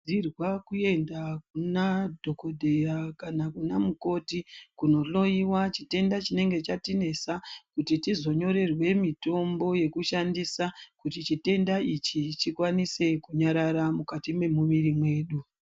Tinokurudzirwa kuenda kuna dhogodheya kana kuna mukoti kunohloiwa chitenda chinenge chatinesa kuti tizonyorerwe mitombo yekushandisa. Kuti chitenda ichi chikwanise kunyarara mukati mwemuviri mwedu.